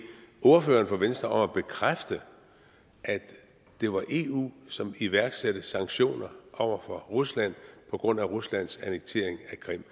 ordføreren for venstre om at bekræfte at det var eu som iværksatte sanktioner over for rusland på grund af ruslands annektering af krim